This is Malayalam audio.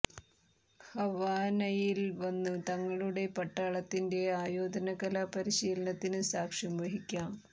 ഹവാനയിൽ വന്ന് തങ്ങളുടെ പട്ടാളത്തിന്റെ ആയോധന കലാ പരിശീലനത്തിന് സാക്ഷ്യം വഹിക്കാം